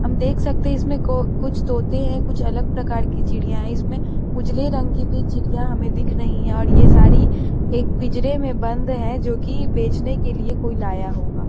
हम देख सकते हैं इसमें को कुछ तोते हैं कुछ अलग प्रकार की चिड़िया हैं इसमें उजले रंग की भी चिड़िया हमें दिख रही हैं और ये सारी एक पिंजरे में बंद है जो की बेचने के लिए कोई लाया होगा ।